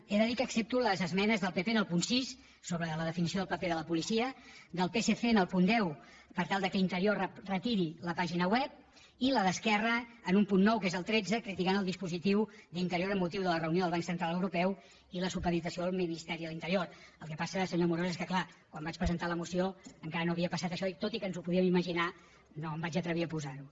he de dir que accepto les esmenes del pp en el punt sis sobre la definició del paper de la policia del psc en el punt deu per tal que interior retiri la pàgina web i la d’esquerra en un punt nou que és el tretze criticant el dispositiu d’interior amb motiu de la reunió del banc central europeu i la supeditació al ministeri de l’interior el que passa senyor amorós és que clar quan vaig presentar la moció encara no havia passat això i tot i que ens ho podíem imaginar no em vaig atrevir a posar ho